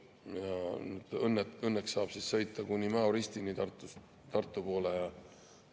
Õnneks saab sõita Tartu poole kuni Mäo ristini ja natukene ka seal Tartu lähedal.